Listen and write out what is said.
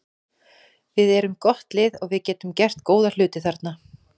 Við erum gott lið og við getum gert góða hluti þarna.